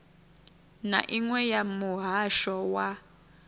na iṅwe ya muhasho wa